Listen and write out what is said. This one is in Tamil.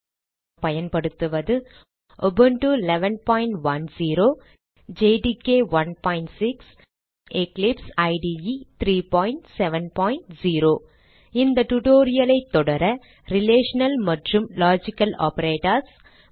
இந்த tutorial க்கு நாம் பயன்படுத்துவது உபுண்டு 1110 ஜேடிகே 16மற்றும் எக்லிப்சைடு 370 இந்த tutorial ஐ தொடர ரிலேஷனல் மற்றும் லாஜிக்கல் ஆப்பரேட்டர்ஸ் மற்றும்